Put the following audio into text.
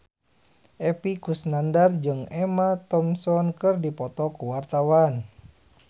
Epy Kusnandar jeung Emma Thompson keur dipoto ku wartawan